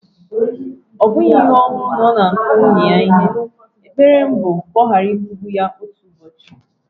Ọ bụghị ihe ọhụrụ na ọ na-akụ nwunye ya ihe, ekpere m wu ka ọ ghara ịkụgbu ya otu ụbọochị.